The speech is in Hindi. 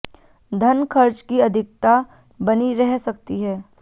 धन खर्च की अधिकता बनी रह सकती है